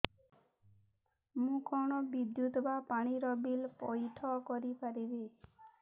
ମୁ କଣ ବିଦ୍ୟୁତ ବା ପାଣି ର ବିଲ ପଇଠ କରି ପାରିବି